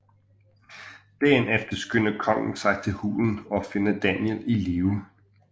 Dagen efter skynder kongen sig til hulen og finder Daniel i live